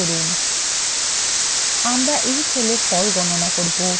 আমরা we cell we ফল গণনা করব